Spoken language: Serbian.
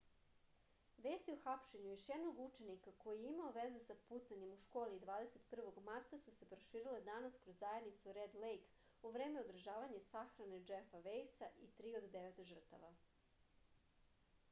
vesti o hapšenju još jednog učenika koji je imao veze sa pucanjem u školi 21. marta su se proširile danas kroz zajednicu red lejk u vreme održavanja sahrane džefa vejsa i tri od devet žrtava